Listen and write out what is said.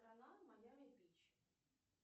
страна майами бич